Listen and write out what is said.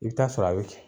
I bɛ taa sɔrɔ a bɛ